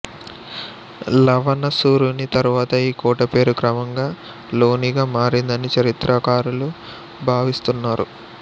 లవణాసురుని తరువాత ఈ కోటపేరు క్రమంగా లోనిగా మారిందని చరిత్రకారులు భావిస్తున్నారు